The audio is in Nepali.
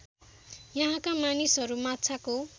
यहाँका मानिसहरू माछाको